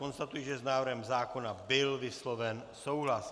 Konstatuji, že s návrhem zákona byl vysloven souhlas.